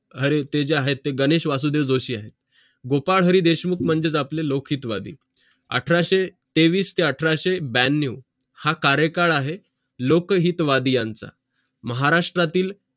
आणि ते जे आहेत ते आहेत गणेश वासुदेव जोशी आहेत गोपाळ हरी देशमुख म्हणजे आपले लौकहितवादी अठराशे तेवीस ते अठराशे ब्यांनाव हा कार्यकडं आहे लोकहितवादी यांचं महाराष्ष्ट्ट्रातील